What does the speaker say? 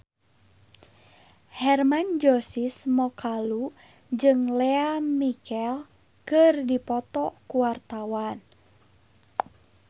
Hermann Josis Mokalu jeung Lea Michele keur dipoto ku wartawan